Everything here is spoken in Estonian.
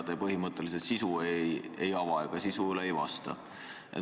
Te põhimõtteliselt sisu ei ava ja sisu kohta ei vasta.